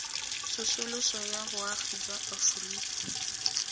tsosoloso ya boagi jwa aforika